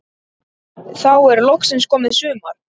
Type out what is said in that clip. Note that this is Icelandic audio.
Þá er loksins komið sumar.